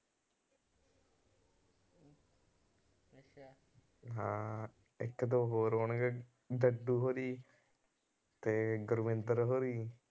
ਹਾਂ ਇੱਕ ਦੋ ਹੋਰ ਹੋਣਗੇ ਡੱਡੂ ਹੋਣੀਂ ਤੇ ਗੁਰਵਿੰਦਰ ਹੋਣੀ